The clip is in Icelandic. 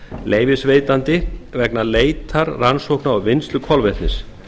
leyfisveitandi vegna leitar rannsókna og vinnslu kolvetnis